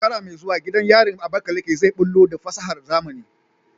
A shekara mai zuwa, gidan yarin Abakaleke zai bullo da fasahar zamani.